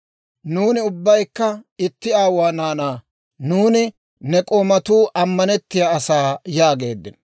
Nuuni ubbaykka itti aawuwaa naanaa. Nuuni ne k'oomatuu ammanettiyaa asaa» yaageeddino.